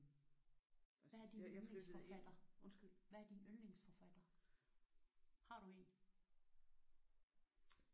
Hvad er din yndlingsforfatter? Undskyld. Hvad er din yndlingsforfatter? Har du en?